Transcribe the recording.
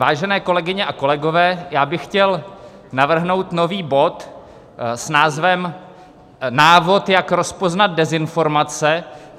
Vážené kolegyně a kolegové, já bych chtěl navrhnout nový bod s názvem Návod, jak rozpoznat dezinformace.